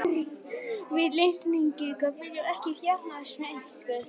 Við Íslendingar viljum ekki jafnaðarmennsku.